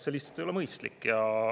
See lihtsalt ei ole mõistlik.